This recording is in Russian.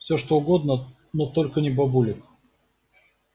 все что угодно но только не бабулек